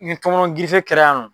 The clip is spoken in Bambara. Ni tɔŋɔnɔn girife kɛra yan nɔ